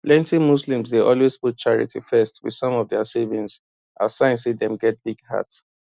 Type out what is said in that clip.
plenty muslims dey always put charity first wit some of dia savings as sign say dem get big heart